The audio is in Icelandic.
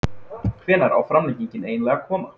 Hvenær á framlengingin eiginlega að koma??